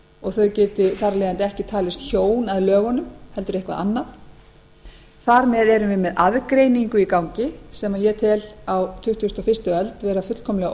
og þau geti þar af leiðandi ekki talist hjón að lögunum heldur eitthvað annað þar með erum við með aðgreiningu í gangi sem ég tel á tuttugustu og fyrstu öld vera fullkomlega